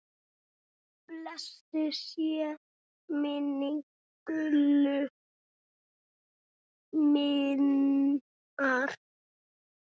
Blessuð sé minning Gullu minnar.